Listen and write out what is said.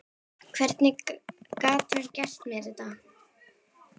Hvernig gat hann gert mér þetta?